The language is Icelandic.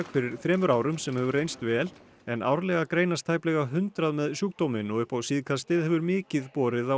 fyrir þremur árum sem hefur reynst vel en árlega greinast tæplega hundrað með sjúkdóminn og upp á síðkastið hefur mikið borið á